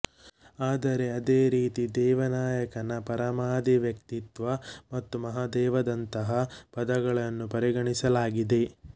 ಆದರೆ ಅದೇ ರೀತಿ ದೇವನಾಯಕನ ಪರಮಾಧಿ ವ್ಯಕ್ತಿತ್ವ ಮತ್ತು ಮಹಾದೇವ ದಂತಹ ಪದಗಳನ್ನೂ ಪರಿಗಣಿಸಲಾಗಿದೆ